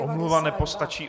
Omluva nestačí.